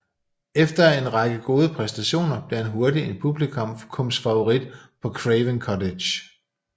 Efter en række gode præstationer blev han hurtigt en publikumsfavorit på Craven Cottage